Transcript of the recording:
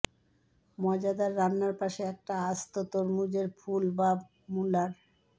মজাদার রান্নার পাশে একটা আস্ত তরমুজের ফুল বা মুলার